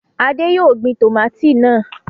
Adé yóò gbin tòmátì náà.